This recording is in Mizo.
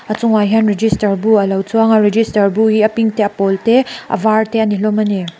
a chung ah hian register bu a lo chuang a register bu hi a pink te a pawl te a var te ani hlawm ani.